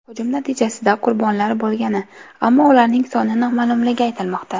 Hujum natijasida qurbonlar bo‘lgani, ammo ularning soni noma’lumligi aytilmoqda.